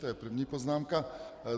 To je první poznámka.